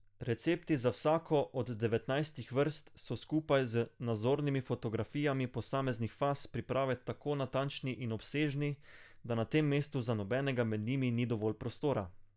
Recepti za vsako od devetnajstih vrst so skupaj z nazornimi fotografijami posameznih faz priprave tako natančni in obsežni, da na tem mestu za nobenega med njimi ni dovolj prostora.